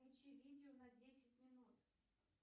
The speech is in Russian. включи видео на десять минут